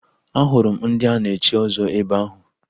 Ahụrụ m ndị a na-echi ọzọ ebe ahụ